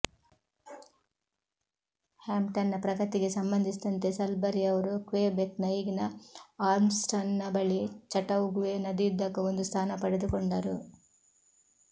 ಹ್ಯಾಂಪ್ಟನ್ನ ಪ್ರಗತಿಗೆ ಸಂಬಂಧಿಸಿದಂತೆ ಸಲ್ಬರಿ ಅವರು ಕ್ವೆಬೆಕ್ನ ಈಗಿನ ಆರ್ಮ್ಸ್ಟೌನ್ನ ಬಳಿ ಚಟೌಗುವೆ ನದಿಯುದ್ದಕ್ಕೂ ಒಂದು ಸ್ಥಾನ ಪಡೆದುಕೊಂಡರು